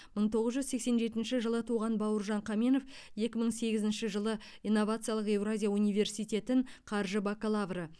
мың тоғыз жүз сексен жетінші жылы туған бауыржан қаменов екі мың сегізінші жылы инновациялық еуразия университетін қаржы бакалавры